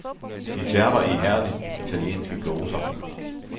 De terper ihærdigt italienske gloser.